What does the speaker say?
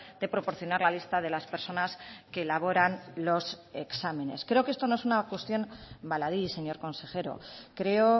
de proporcionar la lista de las personas que elaboran los exámenes creo que esto no es una cuestión baladí señor consejero creo